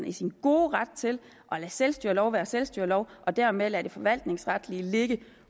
i sin gode ret til at lade selvstyrelov være selvstyrelov og dermed lade det forvaltningsretlige ligge